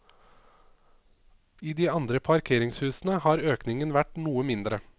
I de andre parkeringshusene har økningen vært noe mindre.